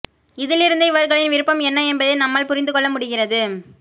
இதிலிருந்து இவர்களின் விருப்பம் என்ன என்பதை நம்மால் புரிந்து கொள்ள முடிகிறது